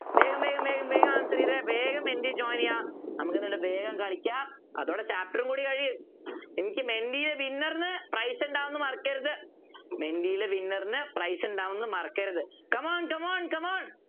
വേഗം വേഗം വേഗം വേഗം വേഗം answer ചെയ്തേ വേഗം മെൻറ്റി join ചെയ്യാ നമുക്ക് എന്നിട്ട് വേഗം കളിക്കാം അതോടെ chapter ഉം കൂടി കഴിയും എനിക്ക് മെൻറ്റിലെ winner നു prize ഉണ്ടാകുമെന്ന് മറക്കരുത് മെൻറ്റിലെ winner നു prize ഉണ്ടാകുമെന്ന് മറക്കരുത് come on come one come on